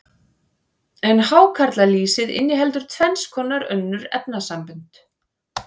en hákarlalýsið inniheldur tvenns konar önnur efnasambönd